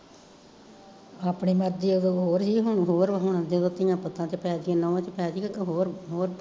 ਆਪਣੀ ਮਰਜੀ ਓਦੋਂ ਹੋਰ ਸੀ ਹੁਣ ਹੋਰ ਜਦੋਂ ਧੀਆਂ ਪੁੱਤਾਂ ਚ ਪੈਕੇ ਨਹੂੰ ਚ ਪੈਗੀ ਜਦੋਂ ਹੋਰ ਹੋਰ